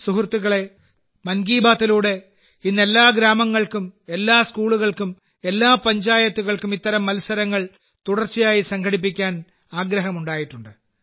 സുഹൃത്തുക്കളേ മൻ കി ബാത്തിലൂടെ ഇന്ന് എല്ലാ ഗ്രാമങ്ങൾക്കും എല്ലാ സ്കൂളുകൾക്കും എല്ലാ പഞ്ചായത്തുകൾക്കും ഇത്തരം മത്സരങ്ങൾ തുടർച്ചയായി സംഘടിപ്പിക്കാൻ ആഗ്രഹമുണ്ടായിട്ടുണ്ട്